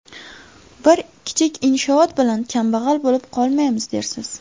Bir kichik inshoot bilan kambag‘al bo‘lib qolmaymiz, dersiz.